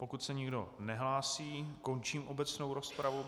Pokud se nikdo nehlásí, končím obecnou rozpravu.